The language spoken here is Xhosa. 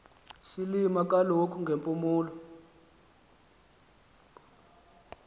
silima kaloku ngepuluwa